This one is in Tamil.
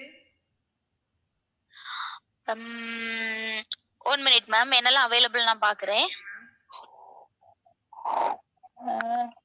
ஆஹ் உம் one minute ma'am என்னெல்லாம் available நான் பாக்குறேன் உம்